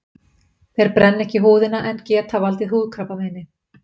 Þeir brenna ekki húðina en geta valdið húðkrabbameini.